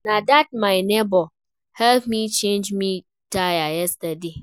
Na dat my nebor help me change my tire yesterday.